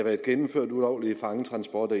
fangetransporter